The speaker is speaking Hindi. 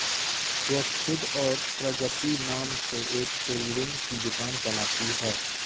वह खुद और प्रगति नाम से एक टेलरिंग की दुकान चलाती है